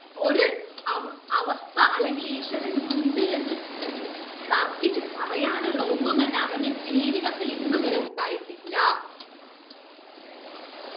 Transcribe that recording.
ഒര് അവ അവസ്ഥ അല്ലങ്കിൽ ഈശ്വരൻ ഉണ്ട് എന്ന് തർക്കിച്ച് പറയാനുള്ള ഒന്നും അവന്റെ ജീവിതത്തിൽ ഇന്ന് വരെ ഉണ്ടായിട്ടില്ല